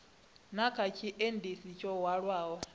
na kha tshiendisi tsho hwalaho